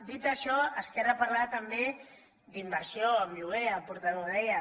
dit això esquerra parlava també d’inversió en lloguer el portaveu ho deia